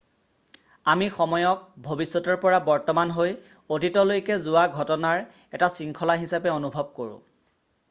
আমি সময়ক ভৱিষ্যতৰ পৰা বৰ্তমান হৈ অতীতলৈকে যোৱা ঘটনাৰ এটা শৃংখলা হিচাপে অনুভৱ কৰো